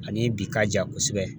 A ni bi ka jan kosɛbɛ